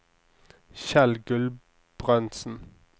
Kjell Gulbrandsen